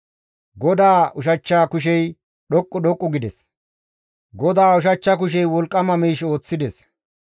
GODAA ushachcha kushey dhoqqu dhoqqu gides! GODAA ushachcha kushey wolqqama miish ooththides.